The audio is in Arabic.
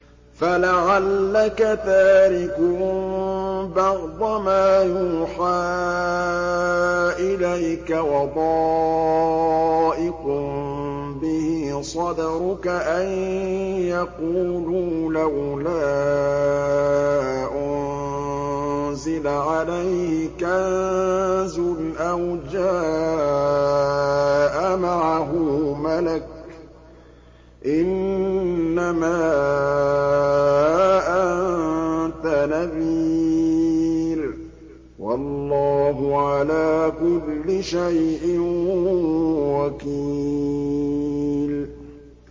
فَلَعَلَّكَ تَارِكٌ بَعْضَ مَا يُوحَىٰ إِلَيْكَ وَضَائِقٌ بِهِ صَدْرُكَ أَن يَقُولُوا لَوْلَا أُنزِلَ عَلَيْهِ كَنزٌ أَوْ جَاءَ مَعَهُ مَلَكٌ ۚ إِنَّمَا أَنتَ نَذِيرٌ ۚ وَاللَّهُ عَلَىٰ كُلِّ شَيْءٍ وَكِيلٌ